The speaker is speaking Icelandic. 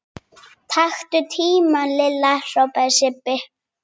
Taktu tímann Lilla! hrópaði Sibbi.